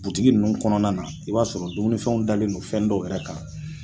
Butigi ninnu kɔnɔna na i b'a sɔrɔ dumunifɛnw dalen don fɛn dɔw yɛrɛ kan